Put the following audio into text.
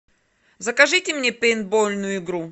закажите мне пейнтбольную игру